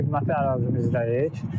Xidməti ərazimizdəyik.